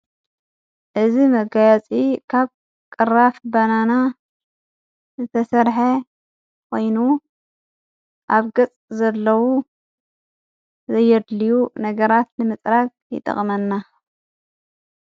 እዚ መጋያፂ ካብ ቕራፍ በናና ዘተሠርሐ ወይኑ ኣብ ገጽ ዘለዉ ዘየድልዩ ነገራት ንምጽራቅ ይጠቕመና::